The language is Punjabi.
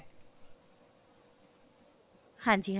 ਹਾਂਜੀ ਹਾਂਜੀ